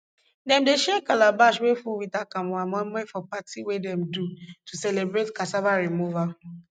dem dey share calabash wey full with akamu and moimoi for party wey dem dey do to celebrate cassava removal